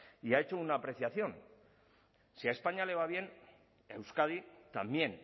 y ha hecho una apreciación si a españa le va bien a euskadi también